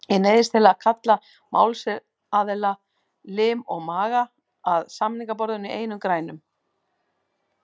Ég neyðist til að kalla málsaðila, lim og maga, að samningaborðinu í einum grænum.